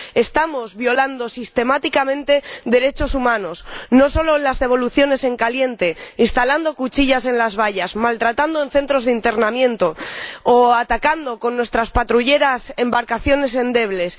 Estamos violando sistemáticamente derechos humanos, no solo en las devoluciones en caliente, sino instalando cuchillas en las vallas, maltratando en centros de internamiento o atacando con nuestras patrulleras embarcaciones endebles.